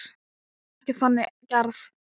Hún er ekki þannig gerð.